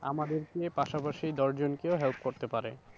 আমাদেরকে পাশাপাশি দশজনকেও help করতে পারে।